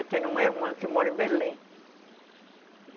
Eu tenho uma irmã que mora em Belém.